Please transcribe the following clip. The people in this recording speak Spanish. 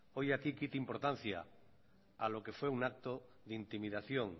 hoy aquí quite importancia a lo que fue un acto de intimidación